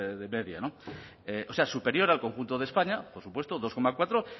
de media o sea superior al conjunto de españa por supuesto dos coma cuatro